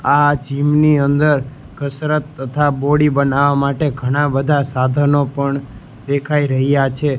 આ જીમ ની અંદર કસરત તથા બોડી બનાવા માટે ઘણા બધા સાધનો પણ દેખાય રહ્યા છે.